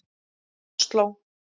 Osló